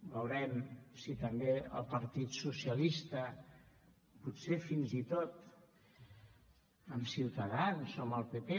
veurem si també el partit socialista potser fins i tot amb ciutadans o amb el pp